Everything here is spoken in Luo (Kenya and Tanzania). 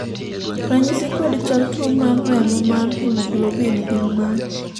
ranyisi kod chal tuo mar remo mar haemoglobin gin mage